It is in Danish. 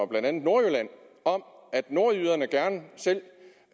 blandt andet nordjylland om at nordjyderne gerne selv